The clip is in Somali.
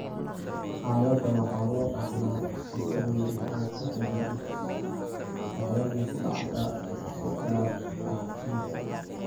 Xaaladda waxaa loo dhaxlaa sifo weyn oo ku xiran X waxayna ku dhacdaa si gaar ah dumarka.